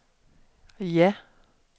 ja